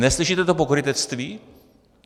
Neslyšíte to pokrytectví?